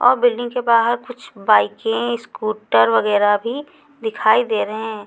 और बिल्डिंग के बाहर कुछ बाइकें स्कूटर वगैरा भी दिखाई दे रहें--